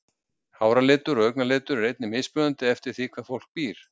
háralitur og augnalitur er einnig mismunandi eftir því hvar fólk býr